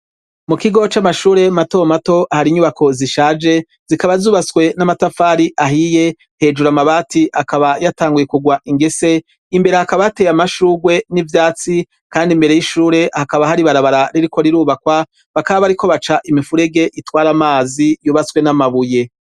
mu kigo c'amashure mato mato hari inyubako zishaje zikaba zubatswe n'amatafari ahiye hejura amabati akaba yatanguye kugwa ingese imbere hakaba ateye amashurwe n'ivyatsi kandi imbere y'ishure hakaba hari barabara ririko rirubakwa baka bariko baca imifurege itwara amazi yubatswe n'amabuye